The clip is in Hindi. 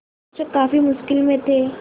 शिक्षक काफ़ी मुश्किल में थे